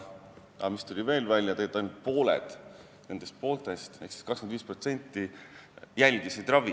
Aga veel tuli välja, et tegelikult ainult pooled nendest pooltest ehk siis 25% järgisid ravi.